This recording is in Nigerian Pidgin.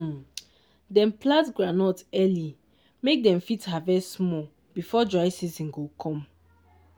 um dem plant groundnut early make dem fit harvest small before dry season go come.